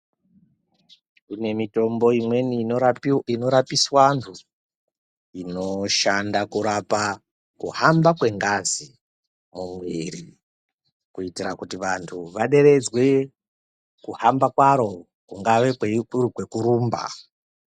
Kune mitombo imweni inorapiswa antu inoshanda kurapa kuhamba kwengazi mumwiri kuitira kuti vantu vaderedzwe kuhamba kwaro kungava kuri kwekurumba.